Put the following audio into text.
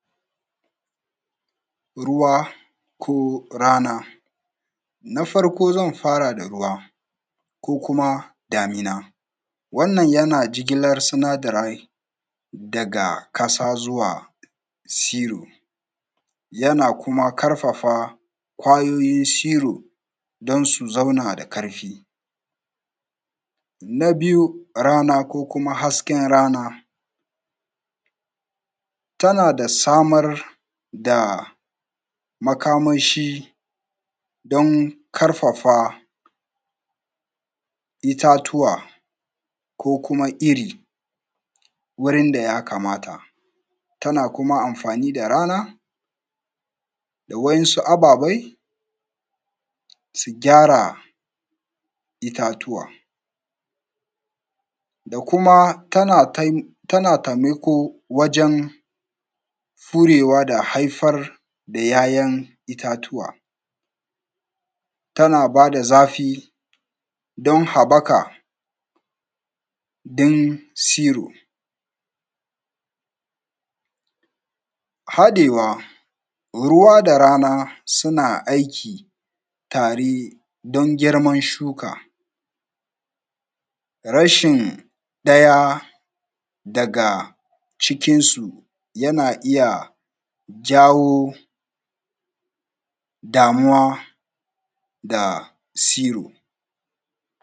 Ruwa ko rana. Na farko zn fara da ruwa kokuma damina. Wannan yan jigilar sinadarai. Daga ƙasa zuwa siro. Yana kuma karfafa wanan kwayoyin da siro. Don su zauna da ƙarfi. Na biyu rana kokuma hasken rana. Tana da samar da makamashi. Don karafa. Itatuwa. Kokuma iri. Wurin da ja kamata. Tana kuma amfani da rana. Da winsu ababai. Su gyara itatuwa. Dakuma tana taimako. Wajen furewa. Da haifar da ˀyaˀyan itatuwa. Tana bada zafi don habaka. Ɗin siro Hadewa, ruwa da rana. Suna aiki tare don girman shuka. Rashin ɗaya daga cikinsu. Yana iya jawo. Damuwa da siro.